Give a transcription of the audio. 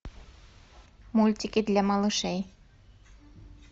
мультики для малышей